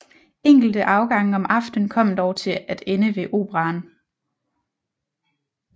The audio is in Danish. Enkelte afgange om aftenen kom dog til at ende ved Operaen